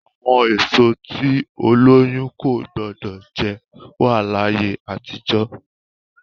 Àwọn èso tí olóyun kò gbọdọ̀ jẹ wá ní ayé àtijọ́.